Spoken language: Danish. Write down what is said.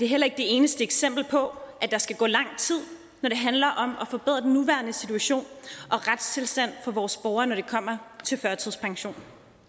heller ikke det eneste eksempel på at der skal gå lang tid når det handler om at forbedre den nuværende situation og retstilstand for vores borgerne når det kommer til førtidspension